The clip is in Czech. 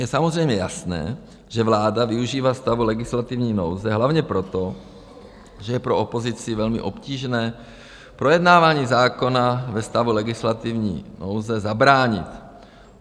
Je samozřejmě jasné, že vláda využívá stavu legislativní nouze hlavně proto, že je pro opozici velmi obtížné projednávání zákona ve stavu legislativní nouze zabránit.